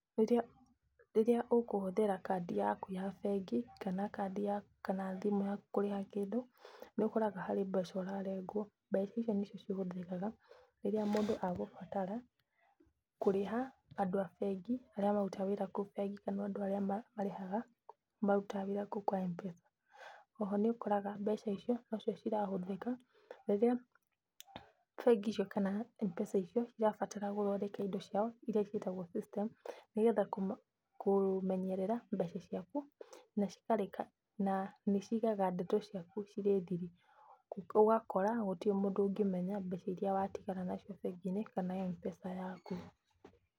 Rĩrĩa ũkũhũthĩra kandi yaku ya bengi kana thimũ yaku kũrĩhĩra kĩndũ nĩũkoraga harĩ mbeca ũrarengwo mbeca icio nĩcio ihũthĩkaga rĩrĩa mũndũ agũbatara kũrĩha andũ a bengi aria marutaga wĩra kũu bengi kana andũ arĩa marĩhaga arĩa marutaga wĩra kũu kwa M-Pesa. Oho nĩũkoraga mbeca icio nocio irahũthĩka rĩrĩa bengi icio kana M-Pesa icio irabatara gũthondeka indo ciao iria ciĩtagwo system nĩgetha kũmenyerera mbeca ciaku na nĩ cigaga ndeto ciaku cirĩ thiri ũgakora gũtire mũndũ ũngĩmenya mbeca iria watigara nacio bengi-inĩ kana M-Pesa yaku.